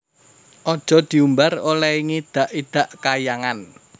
Aja diumbar olehe ngidak idak Kahyangan